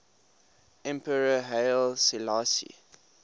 emperor haile selassie